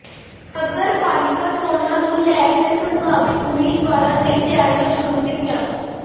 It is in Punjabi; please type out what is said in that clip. ਨਗਰਪਾਲਿਕਾ ਚੋਣਾਂ ਨੂੰ ਲੈ ਕੇ ਸੰਭਾਵਿਤ ਉਮੀਦਵਾਰਾਂ ਨੇ ਤਿਆਰੀਆਂ ਸ਼ੁਰੂ ਕੀਤੀਆਂ